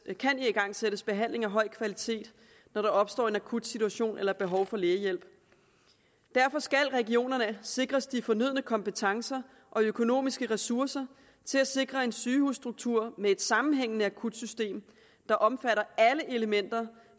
kan igangsættes behandling af høj kvalitet når der opstår en akut situation eller et behov for lægehjælp derfor skal regionerne sikres de fornødne kompetencer og økonomiske ressourcer til at sikre en sygehusstruktur med et sammenhængende akutsystem der omfatter alle elementer